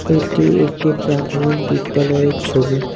এটি একটি প্রাথমিক বিদ্যালয়ের ছবি।